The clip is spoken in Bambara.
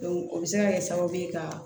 o bɛ se ka kɛ sababu ye ka